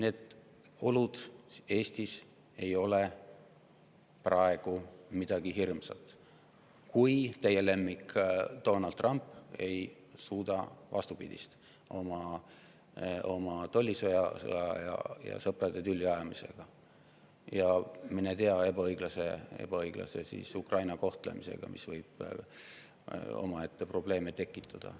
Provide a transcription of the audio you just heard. Eesti oludes ei ole praegu midagi hirmsat, kui just teie lemmik Donald Trump ei suuda vastupidist oma tollisõja ja sõprade tülli ajamisega ja mine tea, ka Ukraina ebaõiglase kohtlemisega, mis võib omaette probleeme tekitada.